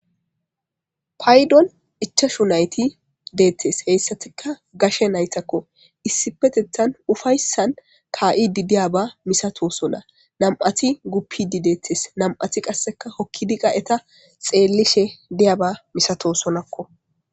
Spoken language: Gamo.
paydon ichashu nayti deettes heyssatika gashe naytakko issi petethan ufayssan ka7idi diyaba misato sona nam7ati gupidi deettes nam7ati qasseka hokkidi qa eta xeellishe diyaba misato sonakko